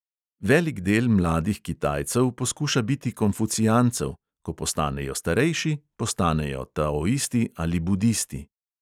Velik del mladih kitajcev poskuša biti konfucijancev, ko postanejo starejši, postanejo taoisti ali budisti.